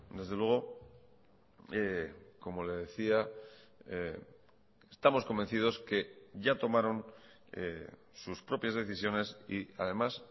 desde luego como le decía estamos convencidos que ya tomaron sus propias decisiones y además